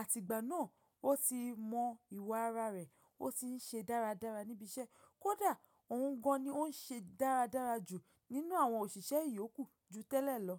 àtìgbà náà ó ti mọ ìwà ara rẹ̀, ó ti ń ṣe dáradára níbi iṣẹ́. Kódà òun gan ni ó ń ṣe dáradára jù nínú àwọn òṣìṣẹ́ ìyókù ju tẹ́lẹ̀ lọ.